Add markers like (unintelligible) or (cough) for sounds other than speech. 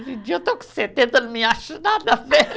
Hoje em dia, eu estou com setenta, não me acho nada (unintelligible)